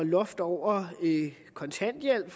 loftet over kontanthjælpen